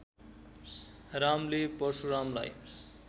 रामले परशुरामलाई